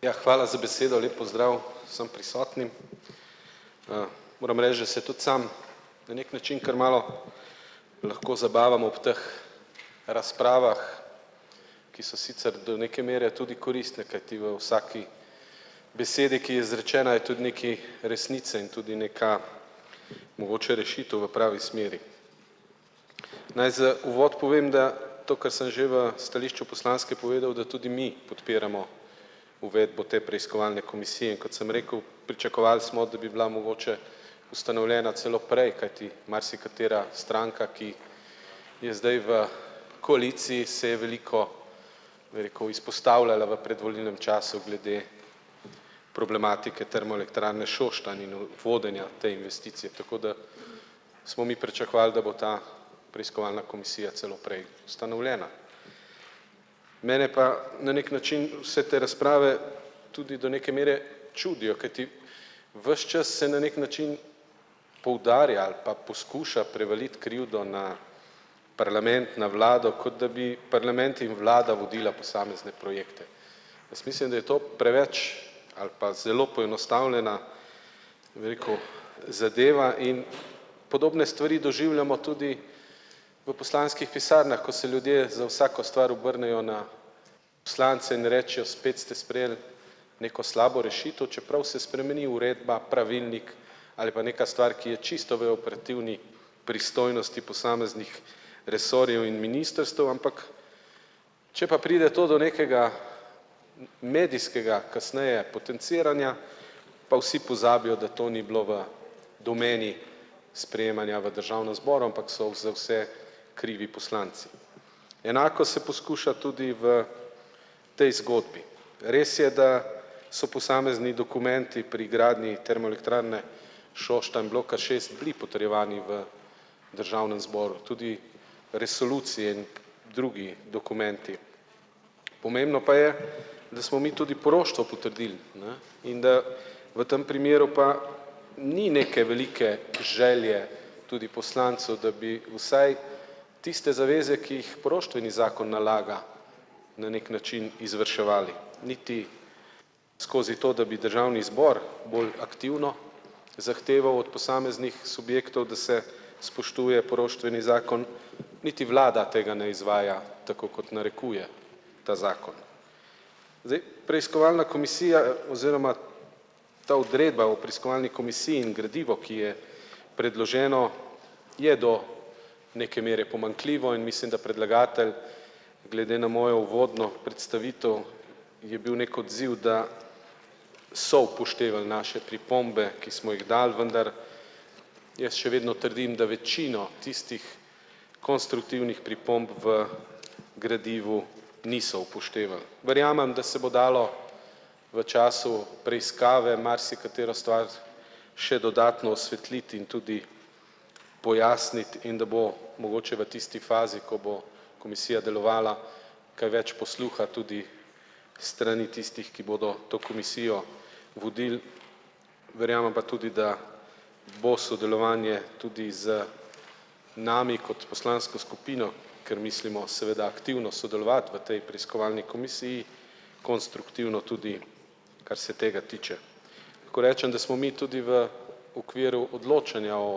Ja, hvala za besedo, lep pozdrav vsem prisotnim. Moram reči, da se tudi sam na neki način kar malo lahko zabavam ob teh razpravah, ki so sicer do neke mere tudi koristne, kajti v vsaki besedi, ki je izrečena, je tudi nekaj resnice in tudi neka mogoče rešitev v pravi smeri. Naj za uvod povem, da to, kar sem že v stališču poslanske povedal, da tudi mi podpiramo uvedbo te preiskovalne komisije, in kot sem rekel, pričakovali smo, da bi bila mogoče ustanovljena celo prej, kajti marsikatera stranka, ki je zdaj v koaliciji, se je veliko, bi rekel, izpostavljala v predvolilnem času glede problematike Termoelektrarne Šoštanj in v vodenja te investicije, tako da smo mi pričakovali, da bo ta preiskovalna komisija celo prej ustanovljena. Mene pa na neki način vse te razprave tudi do neke mere čudijo, kajti ves čas se na neki način poudarja ali pa poskuša prevaliti krivdo na parlament na vlado, kot da bi parlament in vlada vodila posamezne projekte. Jaz mislim, da je to preveč ali pa zelo poenostavljena, bi rekel, zadeva in podobne stvari doživljamo tudi v poslanskih pisarnah, ko se ljudje za vsako stvar obrnejo na poslance in rečejo: "Spet ste sprejeli neko slabo rešitev," čeprav se spremeni uredba, pravilnik ali pa neka stvar, ki je čisto v operativni pristojnosti posameznih resorjev in ministrstev, ampak če pa pride to do nekega medijskega kasneje potenciranja, pa vsi pozabijo, da to ni bilo v domeni sprejemanja v državnem zboru, ampak so za vse krivi poslanci. Enako se poskuša tudi v tej zgodbi. Res je, da so posamezni dokumenti pri gradnji Termoelektrarne Šoštanj bloka šest bili potrjevani v državnem zboru, tudi resolucije, drugi dokumenti. Pomembno pa je, da smo mi tudi poroštvo potrdili, ne. In da v tem primeru pa ni neke velike želje tudi poslancev, da bi vsaj tiste zaveze, ki jih poroštveni zakon nalaga, na neki način izvrševali niti skozi to, da bi državni zbor bolj aktivno zahteval od posameznih subjektov, da se spoštuje poroštveni zakon. Niti vlada tega ne izvaja, tako kot narekuje ta zakon. Zdaj preiskovalna komisija oziroma ta odredba o preiskovalni komisiji in gradivo, ki je predloženo, je do neke mere pomanjkljivo in mislim, da predlagatelj glede na mojo uvodno predstavitev je bil neki odziv, da so upoštevali naše pripombe, ki smo jih dali, vendar jaz še vedno trdim, da večino tistih konstruktivnih pripomb v gradivu niso upoštevali. Verjamem, da se bo dalo v času preiskave marsikatero stvar še dodatno osvetliti in tudi pojasniti in da bo mogoče v tisti fazi, ko bo komisija delovala, kaj več posluha tudi s strani tistih, ki bodo to komisijo vodili. Verjamem pa tudi, da bo sodelovanje tudi z nami kot poslansko skupino, ker mislimo seveda aktivno sodelovati v tej preiskovalni komisiji konstruktivno, tudi kar se tega tiče. Lahko rečem, da smo mi tudi v okviru odločanja o